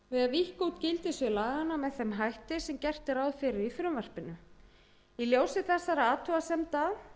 út gildissvið laganna með ein hætti sem gert er ráð fyrir í frumvarpinu í ljósi þessara athugasemda